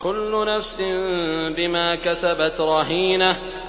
كُلُّ نَفْسٍ بِمَا كَسَبَتْ رَهِينَةٌ